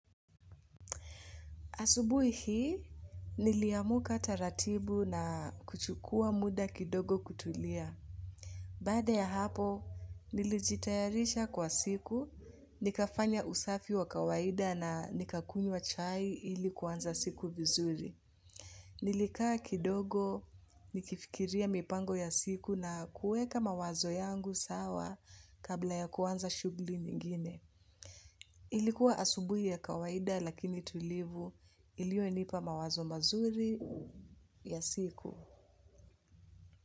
Asubuhi hii, niliamuka taratibu na kuchukua muda kidogo kutulia. Baada ya hapo, nilijitayarisha kwa siku, nikafanya usafi wa kawaida na nikakunywa chai ili kuanza siku vizuri. Nilikaa kidogo, nikifikiria mipango ya siku na kuweka mawazo yangu sawa kabla ya kuanza shughuli nyingine. Ilikuwa asubuhi ya kawaida lakini tulivu iliyonipa mawazo mazuri ya siku.